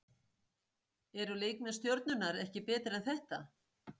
Eru leikmenn Stjörnunnar ekki betri en þetta?